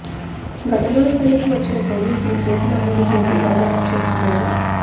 ఘటనా స్థలికి వచ్చిన పోలీసులు కేసు నమోదు చేసి దర్యాప్తు చేస్తున్నారు